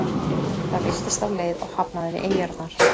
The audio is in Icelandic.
Það villtist af leið og hafnaði við eyjarnar.